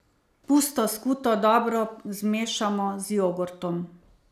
Pusto skuto dobro zmešamo z jogurtom.